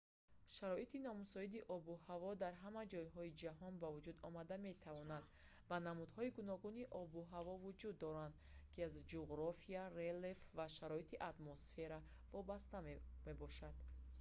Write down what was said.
шароити номусоиди обу ҳаво дар ҳама ҷойҳои ҷаҳон ба вуҷуд омада метавонад ва намудҳои гуногуни обу ҳаво вуҷуд доранд ки аз ҷуғрофия релеф ва шароити атмосфера вобаста мебошанд